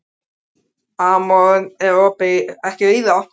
Amor, er opið í Nóatúni?